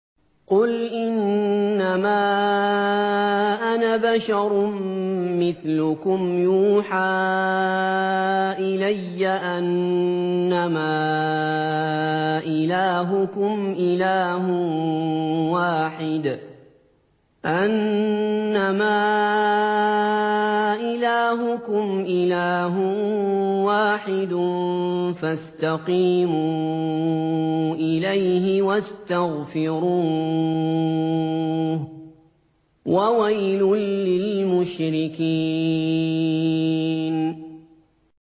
قُلْ إِنَّمَا أَنَا بَشَرٌ مِّثْلُكُمْ يُوحَىٰ إِلَيَّ أَنَّمَا إِلَٰهُكُمْ إِلَٰهٌ وَاحِدٌ فَاسْتَقِيمُوا إِلَيْهِ وَاسْتَغْفِرُوهُ ۗ وَوَيْلٌ لِّلْمُشْرِكِينَ